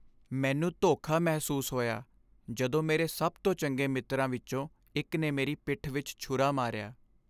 ਮੈਨੂੰ ਧੋਖਾ ਮਹਿਸੂਸ ਹੋਇਆ ਜਦੋਂ ਮੇਰੇ ਸਭ ਤੋਂ ਚੰਗੇ ਮਿੱਤਰਾਂ ਵਿੱਚੋਂ ਇੱਕ ਨੇ ਮੇਰੀ ਪਿੱਠ ਵਿੱਚ ਛੁਰਾ ਮਾਰਿਆ।